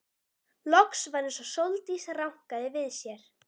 Loks var eins og Sóldís rankaði við sér.